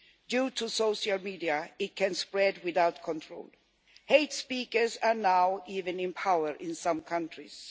Due to social media it can spread without control. Hate speakers are now even in power in some countries.